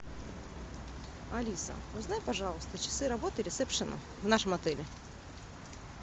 алиса узнай пожалуйста часы работы ресепшена в нашем отеле